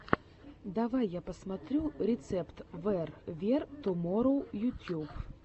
давай я посмотрю рецепт вэр вер туморроу ютьюб